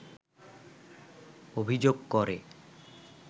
অভিযোগ করে